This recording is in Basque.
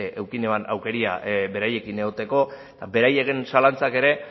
izan nuen aukera beraiekin egoteko eta beraien zalantzak ere